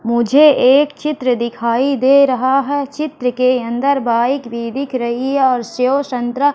मुझे एक चित्र दिखाई दे रहा है चित्र के अंदर बाइक भी दिख रही है और सेव संतरा--